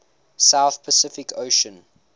south pacific ocean